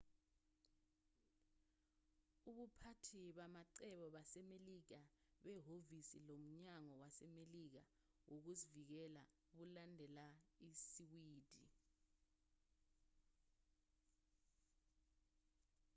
ubuphathi bamacebo basemelika behhovisi lomnyango wasemelika wokuzivikela bulandelela isiwidi